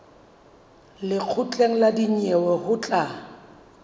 lekgotleng la dinyewe ho tla